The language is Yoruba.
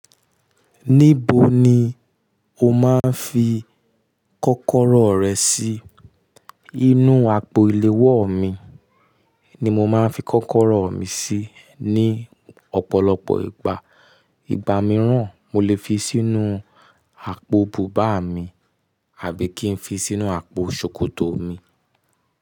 Níbo ni o máa ń fi kọ́kọ́rọ́ rẹ sí? Inú àpò iléwọ mi ni mo máa ń fi kọ́kọ́rọ́ mi sí ní ọ̀pọ̀lọpọ̀ ìgbà. Ìgbà mìíràn, mo lè fi sínú àpò bùbá mi, àbí kí n fi sínú àpò ṣòkòtò mi.